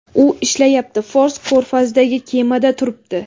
U ishlayapti, Fors ko‘rfazidagi kemada turibdi.